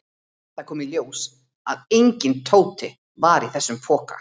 Það kom í ljós að enginn Tóti var í þessum poka.